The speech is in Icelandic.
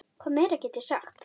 Hvað meira get ég sagt?